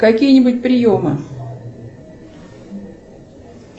какие нибудь приемы